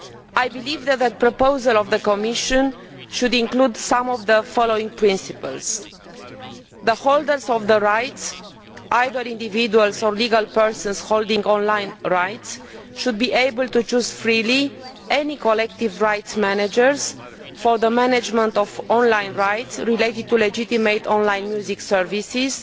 I believe that the Commission proposal should include some of the following principles Firstly, the holders of the rights, either individuals or legal persons holding on line rights, should be able to chose freely any collective rights managers for the management of on line rights related to legitimate on line music services,